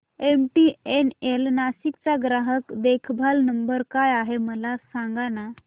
MTNL Nashik चा ग्राहक देखभाल नंबर काय आहे मला सांगाना